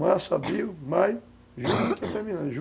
Março, abril, maio, junho, está terminando.